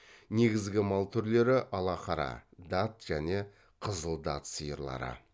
негізгі мал түрлері алақара дат және қызыл дат сиырлары